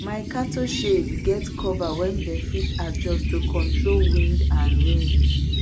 my cattle shed get cover wey dem fit adjust to control wind and rain